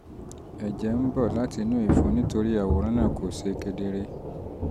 ẹjẹ ń bọ̀ um láti inú ìfun (nítorí àwòrán náà um kò ṣe kedere)